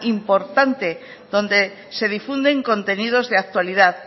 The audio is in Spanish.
importante donde se difunden contenidos de actualidad